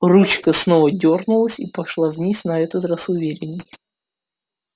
ручка снова дёрнулась и пошла вниз на этот раз уверенней